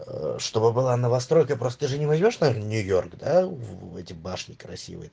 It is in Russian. э чтобы было новостройка просто я же не возмешь там нью-йорк в эти башни красивые